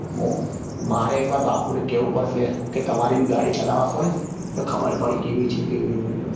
બસ મારે એક વાર બાપુ ને કેવું પડશે કે તમારી બી ગાડી ચલાવવા આપો ને તો ખબર પડે કેવી છે કેવી નહિ